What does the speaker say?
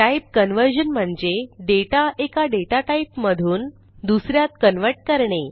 type conversion म्हणजे data एका data type मधून दुस यात कन्व्हर्ट करणे